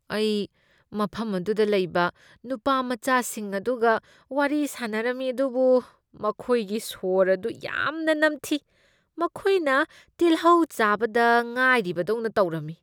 ꯑꯩ ꯃꯐꯝ ꯑꯗꯨꯗ ꯂꯩꯕ ꯅꯨꯄꯥꯃꯆꯥꯁꯤꯡ ꯑꯗꯨꯒ ꯋꯥꯔꯤ ꯁꯥꯅꯔꯝꯃꯤ ꯑꯗꯨꯕꯨ ꯃꯈꯣꯏꯒꯤ ꯁꯣꯔ ꯑꯗꯨ ꯌꯥꯝꯅ ꯅꯝꯊꯤ꯫ ꯃꯈꯣꯏꯅ ꯇꯤꯜꯍꯧ ꯆꯥꯕꯗ ꯉꯥꯏꯔꯤꯕꯗꯧꯅ ꯇꯧꯔꯝꯃꯤ꯫